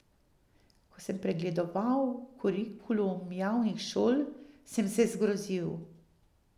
Ko sem pregledoval kurikulum javnih šol, sem se zgrozil.